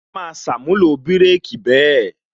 A máa ṣàmúlò bireki bẹ́ẹ̀